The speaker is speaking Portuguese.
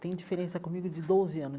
Tem diferença comigo de doze anos.